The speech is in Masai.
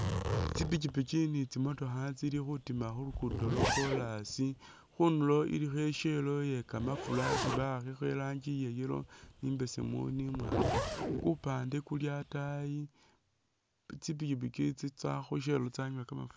Tsipikipiki ni tsimotokha tsili khutima khu luguudo lwa kolasi. Khundulo ilikho i'shell yekamafura isi ba'akhakho irangi iya yellow, ni imbesemu, ni imwaang. Kupande kuli ataayi tsipikipiki tsitsa khu shell tsanywa kamafura.